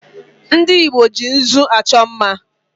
Ndị Igbo ji nzụ achọ mma